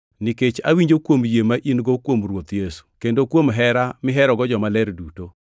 nikech awinjo kuom yie ma in-go kuom Ruoth Yesu, kendo kuom hera miherogo jomaler duto.